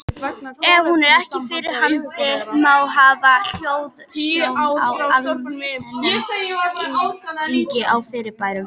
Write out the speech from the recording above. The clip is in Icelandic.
Ef hún er ekki fyrir hendi, má hafa hliðsjón af almennum skilningi á fyrirbærinu.